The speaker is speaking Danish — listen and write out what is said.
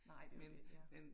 Nej det jo det ja